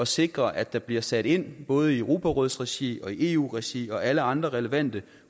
sikre at der bliver sat ind både i europarådsregi og i eu regi og i alle andre relevante